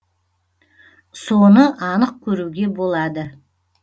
соны анық көруге болады